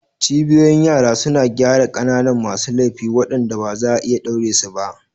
Cibiyoyin yara suna gyara ƙananan masu laifi waɗanda ba za a iya ɗaure su ba.